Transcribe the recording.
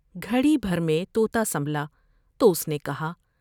گھڑی بھر میں تو تا سنبھلا تو اس نے کہا ۔